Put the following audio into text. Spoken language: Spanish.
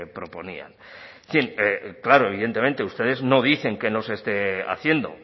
proponían en fin claro evidentemente ustedes no dicen que no se esté haciendo